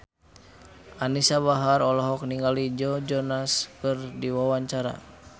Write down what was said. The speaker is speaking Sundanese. Anisa Bahar olohok ningali Joe Jonas keur diwawancara